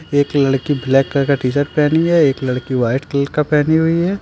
एक लड़की black colour का टी शर्ट पहनी है एक लड़की व्हाइट कलर का पहनी हुई है।